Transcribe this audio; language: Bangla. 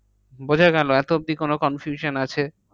বোঝাগেল? এত অব্ধি কোনো confusion আছে?